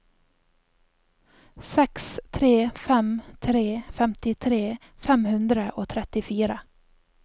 seks tre fem tre femtitre fem hundre og trettifire